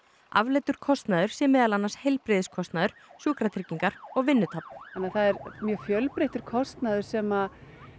afleiddur kostnaður sé meðal annars heilbrigðiskostnaður sjúkratryggingar og vinnutap þannig það er mjög fjölbreyttur kostnaður sem